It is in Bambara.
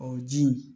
O ji in